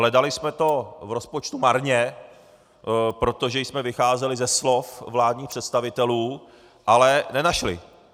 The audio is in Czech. Hledali jsme to v rozpočtu marně, protože jsme vycházeli ze slov vládních představitelů, ale nenašli.